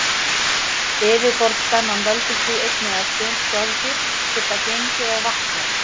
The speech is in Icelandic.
Yfirborðsspennan veldur því einnig að sum skordýr geta gengið á vatni.